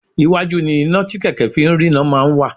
Iwájú ni iná tí kẹ̀kẹ́ fi ń rína máa ń wà